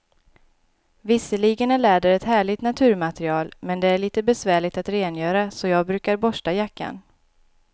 Visserligen är läder ett härligt naturmaterial, men det är lite besvärligt att rengöra, så jag brukar borsta jackan.